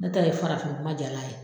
Ne ta ye farafin kuma jalan ye